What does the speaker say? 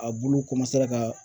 A bulu ka